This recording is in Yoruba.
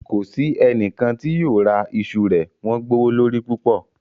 Kò sí ẹnikan tí yóò ra ìṣù rẹ̀, wọn gbowólorí púpọ̀.